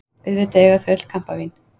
Auðvitað eiga þau öll kampavín!